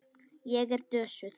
Ég er dösuð.